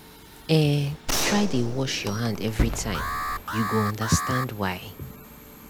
eh try dey wash your hand every time you go understand why.